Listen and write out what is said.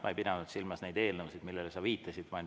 Ma ei pidanud silmas neid eelnõusid, millele sa viitasid.